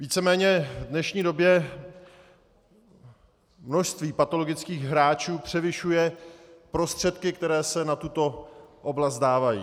Víceméně v dnešní době množství patologických hráčů převyšuje prostředky, které se na tuto oblast dávají.